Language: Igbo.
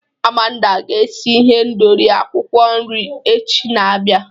Amanda ga-esi ihendori akwukwo nri echi na-abịa.